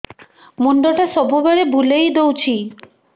ମୁଣ୍ଡଟା ସବୁବେଳେ ବୁଲେଇ ଦଉଛି